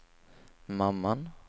mamman